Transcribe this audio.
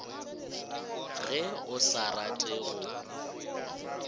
ge o sa rate go